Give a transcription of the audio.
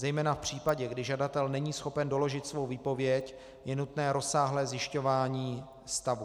Zejména v případě, kdy žadatel není schopen doložit svou výpověď, je nutné rozsáhlé zjišťování stavu.